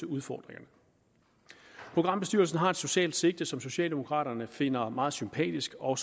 udfordringerne programbestyrelsen har et socialt sigte som socialdemokraterne finder meget sympatisk og